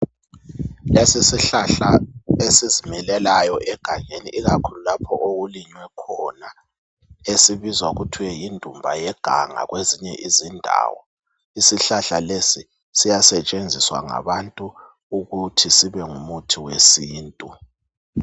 Lesi sihlahla esizimilelayo egangeni ikakhulu lapho okulinywe khona. Esibizwa ngokuthwe yindumba yeganga kwezinye izindawo. Isihlahla lesi siyasetshenziswa ngabantu ukuthi sibe ngumuthi wesintu.